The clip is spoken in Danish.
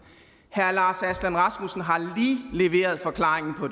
herre lars aslan rasmussen har lige leveret forklaringen på